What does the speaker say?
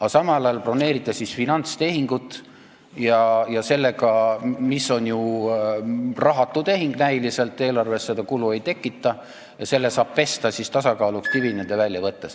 Aga samal ajal broneerite finantstehingu, mis on ju näiliselt rahatu tehing, eelarves kulu ei tekita, ja selle saab ära pesta, tasakaalu heaks dividendi välja võttes.